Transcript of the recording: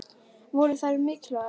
Voru þær mikilvægar?